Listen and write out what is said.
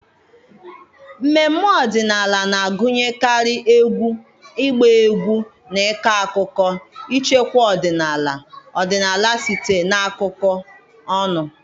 mmemme ọdịnala na-agụnyekarị egwu, ịgba egwu na ịkọ akụkọ, ichekwa ọdịnala ọdịnala site na akụkọ ọnụ.